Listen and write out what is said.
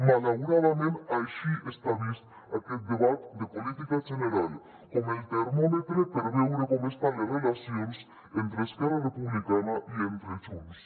malauradament així està vist aquest debat de política general com el termòmetre per veure com estan les relacions entre esquerra republicana i entre junts